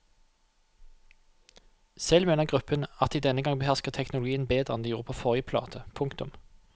Selv mener gruppen at de denne gang behersker teknologien bedre enn de gjorde på forrige plate. punktum